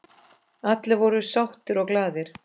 Allir voru sáttir og glaðir.